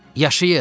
Yaşayır!